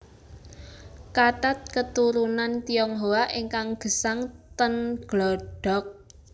Kathat keturunan Tionghoa ingkang gesang ten Glodok